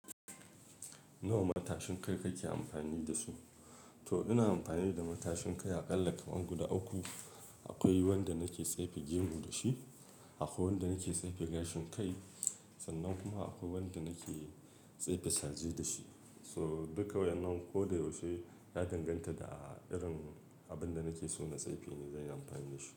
Nawa matashin kai kake amfani da su? To ina amfani da matashin kai a ƙalla kaman guda uku. Akwai wanda nake tsefe gemu da shi, akwai wanda nake tsefe gashin kai, sannan kuma akwai wanda nake tsefe saje da shi. So duka wa yan nan ko da yaushe na danganta da a irin abin da nake so na tsefe ne zan yi amfani da shi.